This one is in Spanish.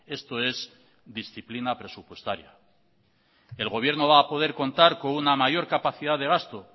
esto es disciplina presupuestaria el gobierno va a poder contar con una mayor capacidad de gasto